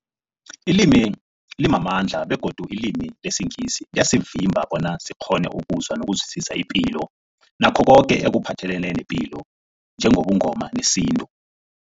Ilimi limamandla begodu ilimi lesiNgisi liyasivimba bona sikghone ukuzwa nokuzwisisa ipilo nakho koke ekuphathelene nepilo njengobuNgoma nesintu.